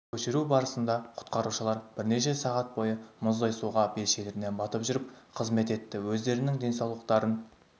көшіру барысында құтқарушылар бірнеше сағат бойы мұздай суға белшелерінен батып жүріп қызмет етті өздерінің денсаулықтарын